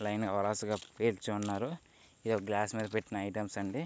Line గా వరాసగా పేర్చి ఉన్నారు. ఇదొక గ్లాస్ మీద పెట్టిన ఐటమ్స్ అండి.